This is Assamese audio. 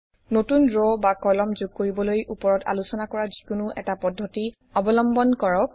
নতুন ৰ বা কলম যোগ কৰিবলৈ উপৰত আলোচনা কৰা যিকোনো এটা পদ্ধতি অৱলম্বন কৰক